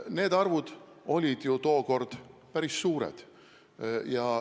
Need arvud olid ju tookord päris suured.